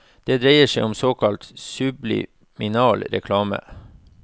Det dreier seg om såkalt subliminal reklame.